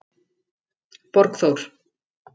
Borgþór